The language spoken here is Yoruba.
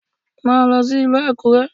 Máa lọ sí ìlú Àkúrẹ́!